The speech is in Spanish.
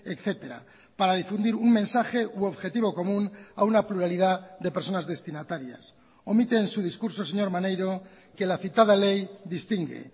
etcétera para difundir un mensaje u objetivo común a una pluralidad de personas destinatarias omite en su discurso señor maneiro que la citada ley distingue